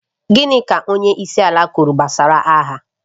Gịnị ka onyeisiala kwuru gbasara agha?